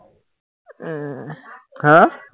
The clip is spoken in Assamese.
উম হা?